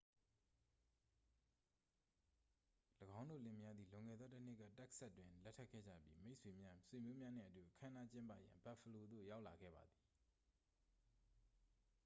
၎င်းတို့လင်မယားသည် လွန်ခဲ့သောတစ်နှစ်က texas တွင် လက်ထပ်ခဲ့ကြပြီး မိတ်ဆွေများ ဆွေမျိုးများနှင့်အတူ အခမ်းအနားကျင်းပရန် buffalo သို့ရောက်လာခဲ့ပါသည်